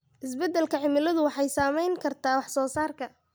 Isbeddelka cimiladu waxay saameyn kartaa wax soo saarka.